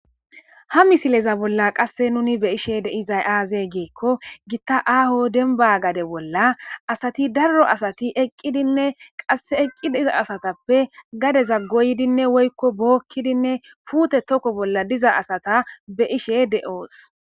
Ha misileza bolla qasse nuni be ishe de izay aaze geekko gitta aaho denba gade bolla asati darro asati eqqidinne qase eqqi diza asatappe gade za goydinne woykko bookkidinne fuute tokko bolla diza asata be ishe de'oos.